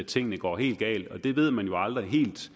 tingene går helt galt og det ved man jo aldrig helt